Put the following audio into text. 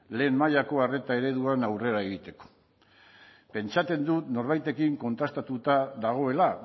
lehen mailako arretaren eredua aurrera egiteko pentsatzen dut norbaitekin kontrastatuta dagoela